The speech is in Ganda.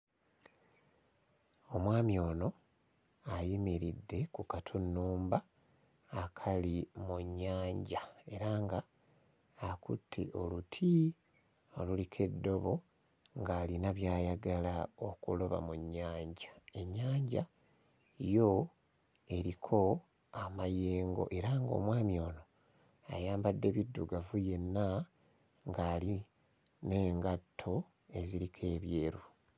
Omwami ono ayimiridde ku katunnumba akali mu nnyanja era nga akutte oluti oluliko eddobo ng'alina by'ayagala okuloba mu nnyanja. Ennyanja yo eriko amayengo era nga omwami ono ayambadde biddugavu yenna ng'ali n'engatto eziriko ebyeru.